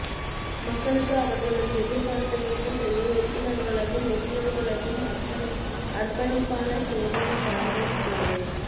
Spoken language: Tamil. மக்களுக்கு அவர்களது எதிர்பார்ப்பை ஈடுசெய்ய உறுப்பினர்களதும் ஊழியர்களதும் அர்ப்பணிப்பான சேவையும் வளங்களும் தேவை